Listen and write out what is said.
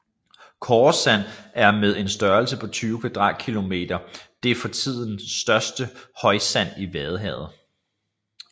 Koresand er med en størrelse på 20 kvadratkilometer det for tiden største højsand i vadehavet